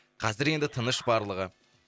қазір енді тыныш барлығы